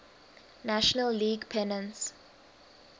national league pennants